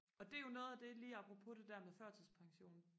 og det er jo noget af det lige apropos det der med førtidspension